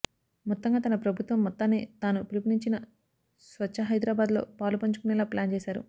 మొత్తంగా తన ప్రభుత్వం మొత్తాన్ని తాను పిలుపునిచ్చిన స్వచ్ఛహైదరాబాద్లో పాలుపంచుకునేలా ప్లాన్ చేశారు